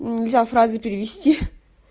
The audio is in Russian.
нельзя фразы перевести